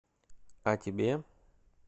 а тебе